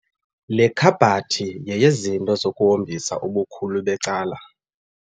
Le khabhathi yeyezinto zokuhombisa, ubukhulu becala.